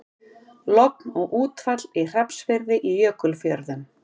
Logn og útfall í Hrafnsfirði í Jökulfjörðum.